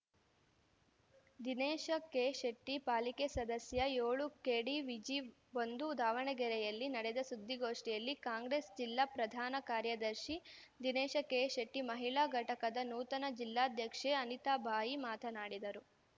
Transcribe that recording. ದಿನೇಶ ಕೆಶೆಟ್ಟಿ ಪಾಲಿಕೆ ಸದಸ್ಯ ಏಳು ಕೆಡಿವಿಜಿ ಒಂದು ದಾವಣಗೆರೆಯಲ್ಲಿ ನಡೆದ ಸುದ್ದಿಗೋಷ್ಠಿಯಲ್ಲಿ ಕಾಂಗ್ರೆಸ್‌ ಜಿಲ್ಲಾ ಪ್ರಧಾನ ಕಾರ್ಯದರ್ಶಿ ದಿನೇಶ ಕೆಶೆಟ್ಟಿ ಮಹಿಳಾ ಘಟಕದ ನೂತನ ಜಿಲ್ಲಾಧ್ಯಕ್ಷೆ ಅನಿತಾಬಾಯಿ ಮಾತನಾಡಿದರು